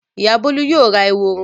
Ìyá Bólú yóò ra eworo.